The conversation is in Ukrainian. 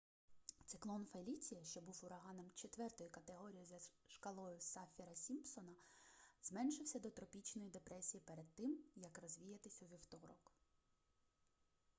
циклон феліція що був ураганом 4 категорії за шкалою саффіра-сімпсона зменшився до тропічної депресії перед тим як розвіятись у вівторок